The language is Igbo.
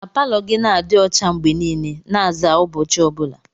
Ka palọ gị na-adị ọcha mgbe niile, na-aza ụbọchị ọ bụla.